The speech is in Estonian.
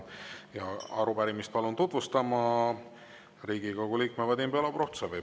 Ja arupärimist palun tutvustama Riigikogu liikme Vadim Belobrovtsevi.